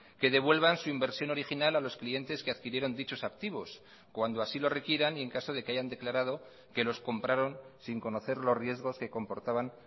que devuelvan su inversión original a los clientes que adquirieron dichos activos cuando así lo requieran y en caso de que hayan declarado que los compraron sin conocer los riesgos que comportaban